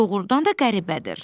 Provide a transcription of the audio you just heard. Doğrudan da qəribədir.